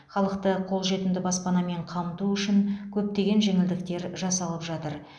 халықты қолжетімді баспанамен қамту үшін көптеген жеңілдіктер жасалып жатыр